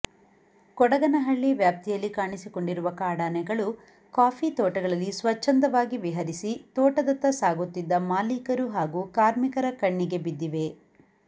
ಕೊಡಗನಹಳ್ಳಿ ವ್ಯಾಪ್ತಿಯಲ್ಲಿ ಕಾಣಿಸಿಕೊಂಡಿರುವ ಕಾಡಾನೆಗಳು ಕಾಫಿ ತೋಟಗಳಲ್ಲಿ ಸ್ವಚ್ಛಂದವಾಗಿ ವಿಹರಿಸಿ ತೋಟದತ್ತ ಸಾಗುತ್ತಿದ್ದ ಮಾಲೀಕರು ಹಾಗೂ ಕಾರ್ಮಿಕರ ಕಣ್ಣಿಗೆ ಬಿದ್ದಿವೆ